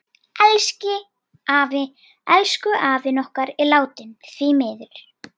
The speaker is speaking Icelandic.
Elsku afi okkar er látinn.